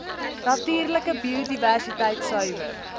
natuurlike biodiversiteit suiwer